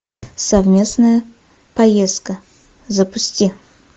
совместная поездка запусти